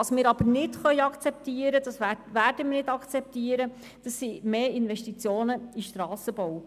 Was wir aber nicht akzeptieren können, und das werden wir auch nicht akzeptieren, das sind mehr Investitionen in Strassenbau.